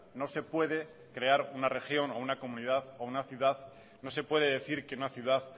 no se puede decir que una ciudad